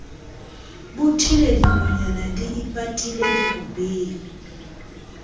bothile dinonyana di ipatile dirobeng